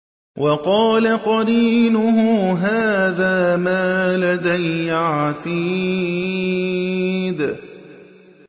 وَقَالَ قَرِينُهُ هَٰذَا مَا لَدَيَّ عَتِيدٌ